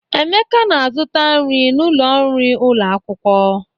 Emeka na-azụta nri n'ụlọ nri ụlọ akwụkwọ.